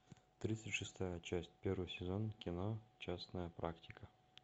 тридцать шестая часть первый сезон кино частная практика